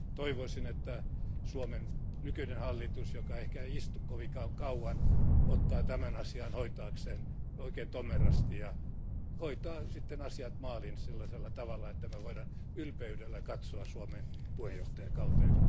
Toivoisin, että Suomen nykyinen hallitus, joka ehkä ei istu kovinkaan kauan, ottaa tämän asian hoitaakseen oikein tomerasti ja hoitaa sitten asiat maaliin sellaisella tavalla, että me voimme ylpeydellä katsoa Suomen puheenjohtajakauteen.